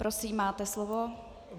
Prosím, máte slovo.